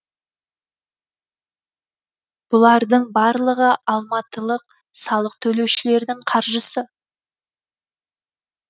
бұлардың барлығы алматылық салық төлеушілердің қаржысы